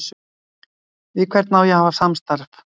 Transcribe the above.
Við hvern á ég að hafa samstarf við?